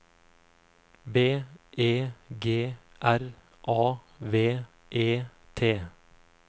B E G R A V E T